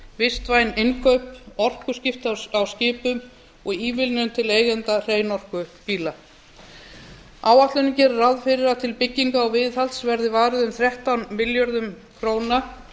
vistvæn innkaup orkuskipti í skipum og ívilnun til eigenda hreinorkubíla áætlunin gerir ráð fyrir að til bygginga og viðhalds verði varið um þrettán milljörðum króna